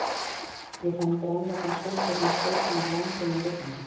Ég fann grænleitan sólpallinn sleipan af langvinnum rigningum.